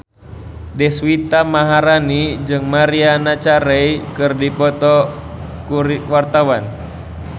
Deswita Maharani jeung Maria Carey keur dipoto ku wartawan